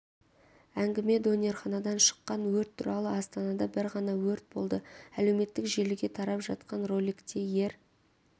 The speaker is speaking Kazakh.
әңгіме донерханадан шыққан өрт туралы астанада бір ғана өрт болды әлеуметтік желіге тарап жатқан роликте ер